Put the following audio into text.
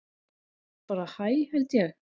Bara hæ held ég.